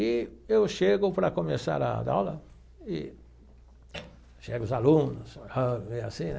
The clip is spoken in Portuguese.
E eu chego para começar a dar aula e chega os alunos ah veio assim, né?